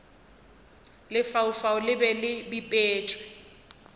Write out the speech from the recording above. lefaufau le be le bipetšwe